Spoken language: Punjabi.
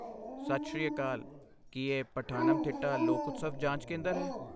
ਸਤਿ ਸ਼੍ਰੀ ਅਕਾਲ, ਕੀ ਇਹ ਪਠਾਨਮਥਿੱਟਾ ਲੋਕ ਉਤਸਵ ਜਾਂਚ ਕੇਂਦਰ ਹੈ?